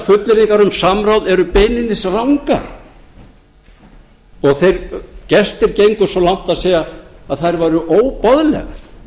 fullyrðingar um samráð eru beinlínis rangar og þeir gestir gengu svo langt að segja að þær væru óboðlegar